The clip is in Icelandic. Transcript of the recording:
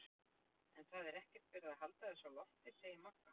En það er ekkert verið að halda þessu á lofti, segir Magga.